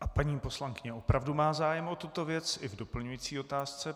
A paní poslankyně opravdu má zájem o tuto věc i v doplňující otázce.